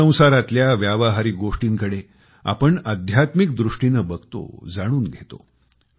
संसारतल्या व्यावहारिक गोष्टींकडे आपण आध्यात्मिक दृष्टीने बघतोजाणून घेतो